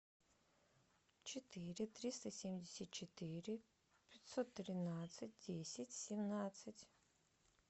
четыре триста семьдесят четыре пятьсот тринадцать десять семнадцать